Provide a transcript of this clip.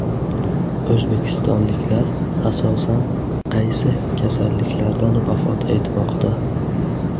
O‘zbekistonliklar asosan qaysi kasalliklardan vafot etmoqda?.